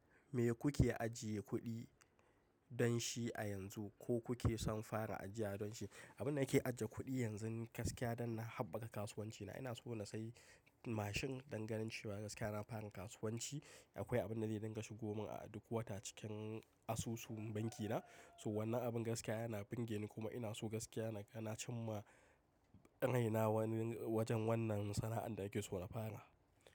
Me kuke ajiye kuɗi don shi a yanzu ko kuke son fara ajiya don shi? Abin da nake ajiye kuɗi yanzu gaskiya don na haɓaka kasuwancina. Ina so na sayi mashin danganin cewa gaskiya na fara kasuwanci akwai abin da zai dinga shigo mun a duk wata cikin asusu bankina. So wannan abin gaskiya yana burge ni kuma ina so gaskiya na ga na cim ma raina. Wajen wannan sana'ar da nake so na fara.